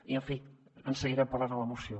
i en fi en seguirem parlant a la moció